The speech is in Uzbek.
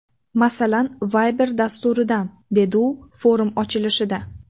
Masalan, Viber dasturidan”, dedi u forum ochilishida.